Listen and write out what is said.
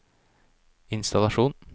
innstallasjon